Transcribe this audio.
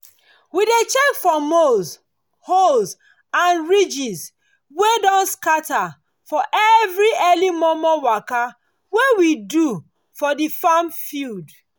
we check for mole holes and ridges wey don scatter for every early momo waka wey we do for the farm field